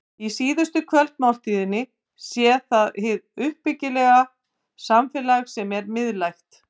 Í síðustu kvöldmáltíðinni sé það hið uppbyggilega samfélag sem sé miðlægt.